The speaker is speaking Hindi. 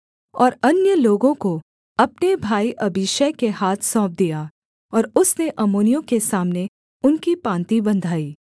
और अन्य लोगों को अपने भाई अबीशै के हाथ सौंप दिया और उसने अम्मोनियों के सामने उनकी पाँति बँधाई